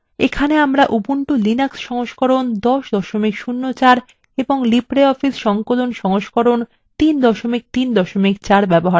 এখানে আমরা উবুন্টুর লিনাক্স সংস্করণ 1004 এবং libreoffice সংকলন সংস্করণ 334 ব্যবহার করছি